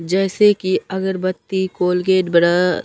जैसे कि अगरबत्ती कोलगेट ब्रअ --